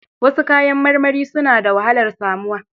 Wasu kayan marmari suna da wahalar samuwa.